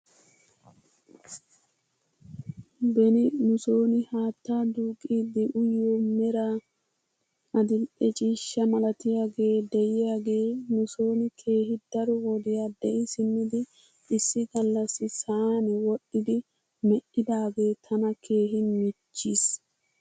Beni nuson haattaa duuqqidi uyiyoo meraa adil''e ciishsha malatiyaagee de'iyaagee nuson keehi daro wodiyaa de'i simmidi issi galassi sa'an wodhdhidi me'idaagee tana keehi michchis.